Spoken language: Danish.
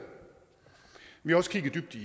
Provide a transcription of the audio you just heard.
vi har også kigget